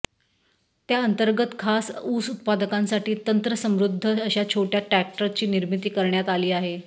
त्या अंतर्गत खास ऊस उत्पादकांसाठी तंत्रसमृदध अशा छोट्या ट्रॅक्टरची निर्मिती करण्यात आली आहे